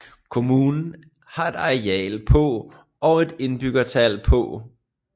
Kommunen har et areal på og et indbyggertal på